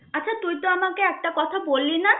একটা কথা বললি না?